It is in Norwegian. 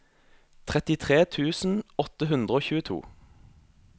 trettitre tusen åtte hundre og tjueto